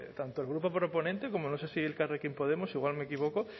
tanto el grupo proponente como no sé si elkarrekin podemos igual me equivoco